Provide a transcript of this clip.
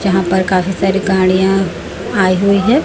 यहां पर काफी सारी गाड़ियां आई हुई हैं।